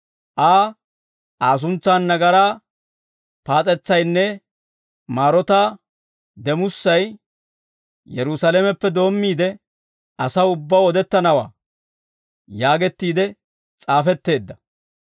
Aa Aa suntsan nagaraa paas'etsaynne maarotaa demussay Yerusaalameppe doommiide asaw ubbaw odettanawaa› yaagettiide s'aafetteedda.